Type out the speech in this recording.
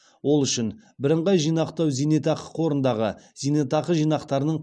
ол үшін біріңғай жинақтау зейнетақы қорындағы зейнетақы жинақтарының